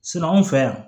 anw fɛ yan